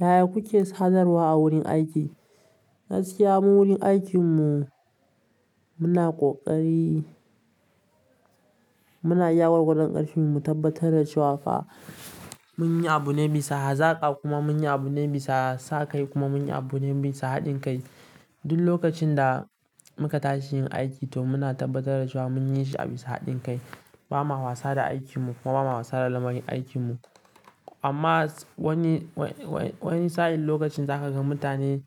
Yaya kuke sadarwa a wurin aiki? Gaskiya mu wurin aikin mu muna ƙoƙari, muna iya gwagwadon ƙarfinmu mu tabbatar da cewa fa mun yi abu ne bisa hazaƙa kuma mun yi abu ne bisa sa kai kuma mun yi abu ne bisa haɗin kai. Duk lokacin da muka tashi yin aiki to muna tabbatar da cewa mun yi shi a bisa haɗin kai. Ba ma wasa da aikin mu kuma ba ma wasa da lamarin aikin mu. Amma wani, wa-wai-wani sa'in lokacin zaka ga mutane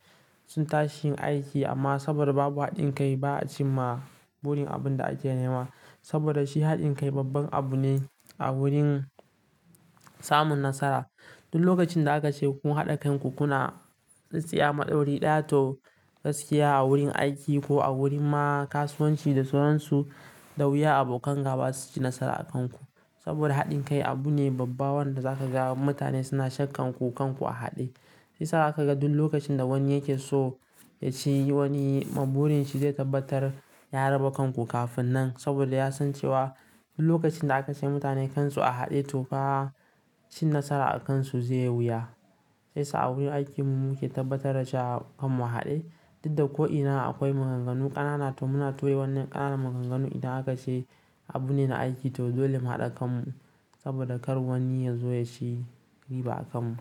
sun tashi yin aiki amma saboda babu haɗin kai ba a ci ma burin abin da ake nema. Saboda shi haɗin kai babban abu ne a wurin samun nasara. Duk lokacin da aka ce kun haɗa kan ku kuna tsitseya maɗauri ɗaya to gaskiya a wurin aiki ko a wurin ma kasuwanci da sauransu, dawuya abokan ga ba su ci nasara a kan ku. Saboda haɗin kai abu ne babba wanda za ka ga mutane suna shakkan ku kan ku a haɗe. Shi yasa zaka ga duk lokacin da wani yake so ya ci yi wani ma burinshi shi zai tabbatar ya raba kan ku kafin nan saboda ya san cewa duk lokacin da aka ce mutane kan su a haɗe to ka ci nasara a kan su zai yi wuya. Shi yasa sa a wurin aikin mu muke tabbatar da cewa kan mu a haɗe. Dudda ko'ina akwai maganganu ƙanana to muna tauye wannan ƙananan maganganu idan aka ce abu ne na aiki to dole mu haɗa kan mu saboda kar wani ya zo ya ci riba a kan mu.